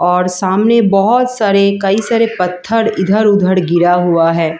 और सामने बहुत सारे कई सारे पत्थर इधर-उधर गिरा हुआ है।